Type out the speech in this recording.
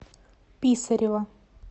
писарева